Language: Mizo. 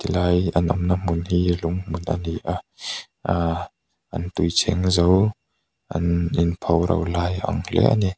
tilai an awm na hmun hi lung hmun a ni a aa an tui cheng zo an in pho ro lai a ang hle a ni.